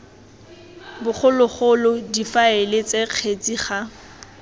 bogologolo difaele ts kgetsi ga